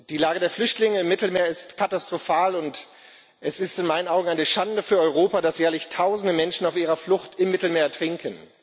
Die Lage der Flüchtlinge im Mittelmeer ist katastrophal, und es ist in meinen Augen eine Schande für Europa, dass jährlich tausende Menschen auf ihrer Flucht im Mittelmeer ertrinken.